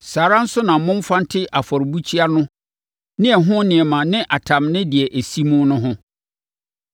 Saa ara nso na momfa nte afɔrebukyia no ne ɛho nneɛma ne atam ne deɛ ɛsi mu no ho.